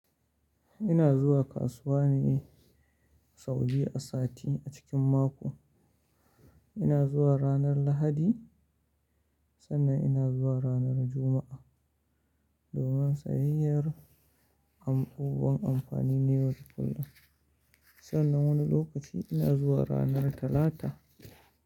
Ina zuwa kasuwa ne sau biyu a sati a cikin mako. Ina zuwa ranar Lahadi sannan ina zuwa ranar Juma'a. Domin sayayyar abubuwan amfani na yau da kullum. Sannan wani lokaci ina zuwa ranar Talata.